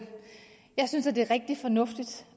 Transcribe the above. synes det er rigtig fornuftigt